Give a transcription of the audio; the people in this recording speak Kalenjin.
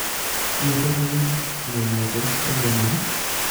Miten rapinik cheyoche ikonon ?